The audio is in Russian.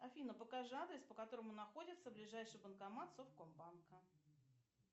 афина покажи адрес по которому находится ближайший банкомат совкомбанка